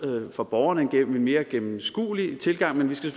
for borgerne en mere gennemskuelig tilgang men vi skal